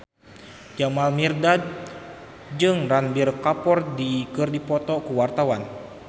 Jamal Mirdad jeung Ranbir Kapoor keur dipoto ku wartawan